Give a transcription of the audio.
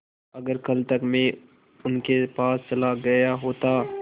अगर कल तक में उनके पास चला गया होता